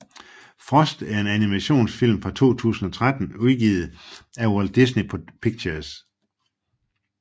Frost er en animationsfilm fra 2013 udgivet af Walt Disney Pictures